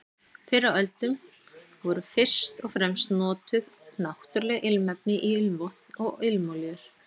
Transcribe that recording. Fyrr á öldum voru fyrst og fremst notuð náttúruleg ilmefni í ilmvötn og ilmolíur.